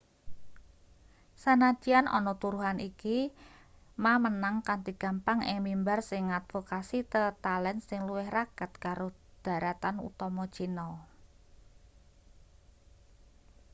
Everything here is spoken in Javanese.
sanadyan ana turuhan iki ma menang kanthi gampang ing mimbar sing ngadvokasi tetalen sing luwih raket karo dharatan utama china